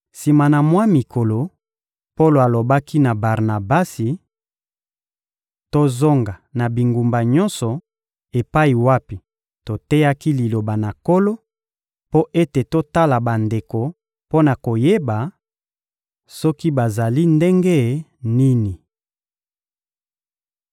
Sima na mwa mikolo, Polo alobaki na Barnabasi: — Tozonga na bingumba nyonso epai wapi toteyaki Liloba na Nkolo, mpo ete totala bandeko mpo na koyeba soki bazali ndenge nini.